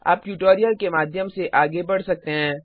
आप ट्यूटोरियल के माध्यम से आगे बढ़ सकते हैं